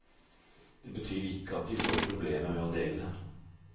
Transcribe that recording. Det betyr ikke at de får problemer med å dele.